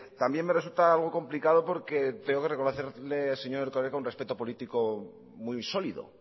también me resulta algo complicado porque tengo que reconocerle al señor erkoreka un respeto político muy sólido